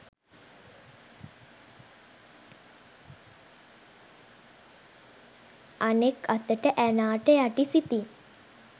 අනෙක් අතට ඇනාට යටි සිතින්